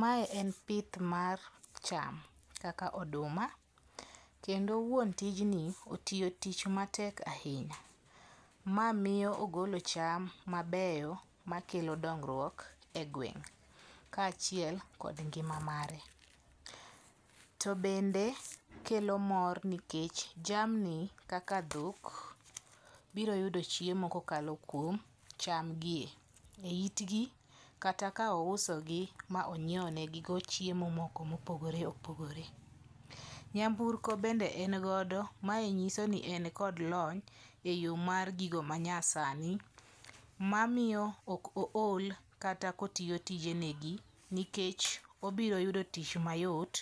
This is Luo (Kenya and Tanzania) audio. Mae en pith mar cham kaka oduma. Kendo wuon tijni otiyo tich matek ahinya. Ma miyo ogolo cham mabeyo makelo dongruok e gweng' ka achiel kod ngima mare. Tobe bende kelo mor nikech jamni kaka dhok biro yudo chiemo kokalo kuom cham gie e itgi kata ka ouso gi ma onyiew ne gigo chiemo moko mopogore opogore. Nyamburko bende engodo. Mae nyiso ni en kod lony e yor gigo ma nya sani. Mamiyo ok ool kata kotiyo tijenegi nikech obiro yudo tich mayot